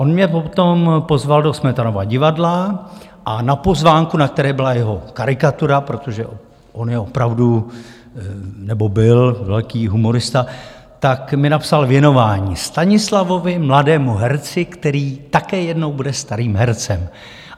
On mě potom pozval do Smetanova divadla a na pozvánku, na které byla jeho karikatura, protože on je opravdu, nebo byl velký humorista, tak mi napsal věnování: Stanislavovi, mladému herci, který také jednou bude starým hercem.